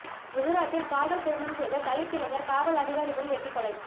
குஜராத்தில் காதல் திருமணம் செய்த தலித் இளைஞர் காவல் அதிகாரி முன் வெட்டிக் கொலை